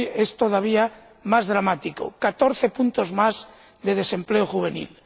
Rajoy, es todavía más dramático 14 puntos más de desempleo juvenil.